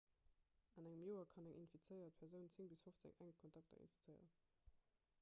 an engem joer kann eng infizéiert persoun 10 bis 15 enk kontakter infizéieren